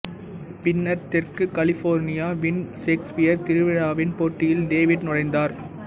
பின்னர் தெற்கு கலிபோர்னியாவின் சேக்ஸ்பியர் திருவிழாவின் போட்டியில் டேவிட் நுழைந்தார்